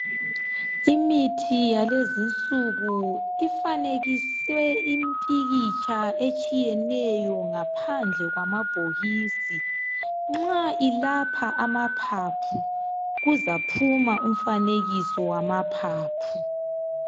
Imithi yalezinsuku ifanekiswe impikitsha etshiyeneyo ngaphandle kwamabhokisi nxa ilapha amaphaphu kuzaphuma umfanekiso wamaphaphu